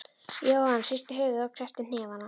Jóhann hristi höfuðið og kreppti hnefana.